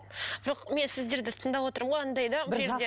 жоқ мен сіздерді тыңдап отырмын ғой анадай да бұл жерде